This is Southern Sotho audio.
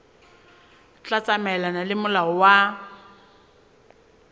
tla tsamaelana le molao wa